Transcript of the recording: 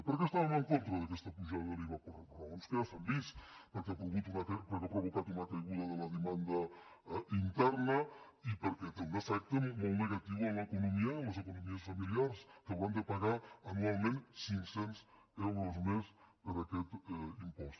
per què estàvem en contra d’aquesta apujada de l’iva per raons que ja s’han vist perquè ha provocat una caiguda de la demanda interna i perquè té un efecte molt negatiu en l’economia i en les economies familiars que hauran de pagar anualment cinc cents euros més per aquest impost